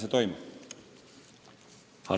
Hanno Pevkur.